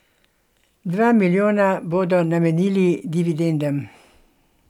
Dva milijona bodo namenili dividendam.